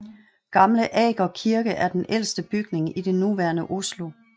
Gamle Aker Kirke er den ældste bygning i det nuværende Oslo